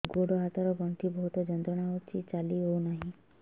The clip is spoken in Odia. ଗୋଡ଼ ହାତ ର ଗଣ୍ଠି ବହୁତ ଯନ୍ତ୍ରଣା ହଉଛି ଚାଲି ହଉନାହିଁ